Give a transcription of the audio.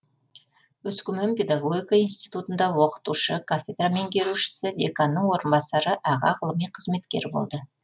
өскемен педагогика институтында оқытушы кафедра меңгерушісі деканның орынбасары аға ғылыми қызметкер болды